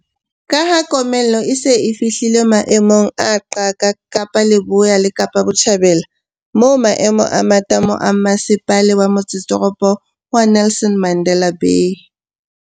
Ka ha komello e se e fihlile maemong a qaka Kapa Leboya le Kapa Botjhabela, moo maemo a matamo a Mmase pala wa Motsetoropo wa Nelson Mandela Bay